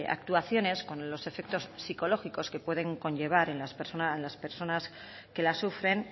actuaciones con los efectos psicológicos que pueden conllevar en las personas que las sufren